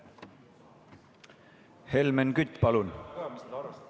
Helmen Kütt, palun!